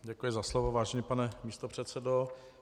Děkuji za slovo, vážený pane místopředsedo.